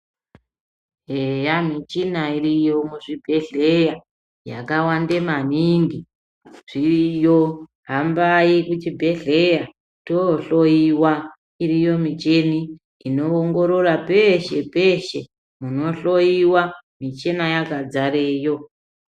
Eya michina iriyo muzvibhedhlera yakawande maningi zviriyo hambai kuchibhedhleya tohloyiwa iriyo michini inoongorora peeshepeshe munohloyiwa michina yakazareo.